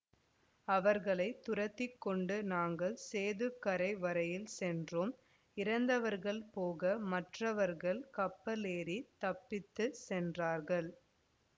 அவர்களை துரத்தி கொண்டு நாங்கள் சேதுக்கரை வரையில் சென்றோம் இறந்தவர்கள் போக மற்றவர்கள் கப்பலேறித் தப்பித்துச் சென்றார்கள்